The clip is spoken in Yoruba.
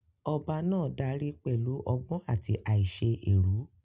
Ọba náà dárí pẹ̀lú ọgbọ́n àti àìṣe èrú.